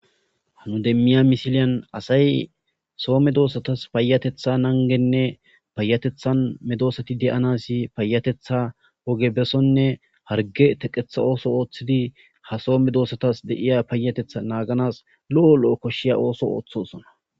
Ha nu demiya misilen asay Soho medosatas payatetha nangene payatetha medosatas de'anas peyatetha oge besone harge teqetha oge oothidi ha Soho medosatas lo'o lo'o dethas koshiya ootho oothosona